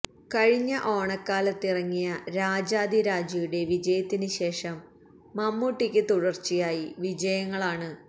കഴിഞ്ഞ ഓണക്കാലത്തിറങ്ങിയ രാജാധി രാജയുടെ വിജയത്തിന് ശേഷം മമ്മൂട്ടിയ്ക്ക് തുടര്ച്ചയായി വിജയങ്ങളാണ്